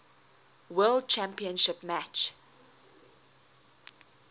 world championship match